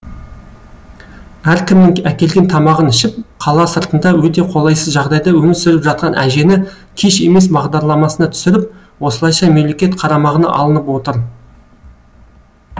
әркімнің әкелген тамағын ішіп қала сыртында өте қолайсыз жағдайда өмір сүріп жатқан әжені кеш емес бағдарламасына түсіріп осылайша мемлекет қарамағына алынып отыр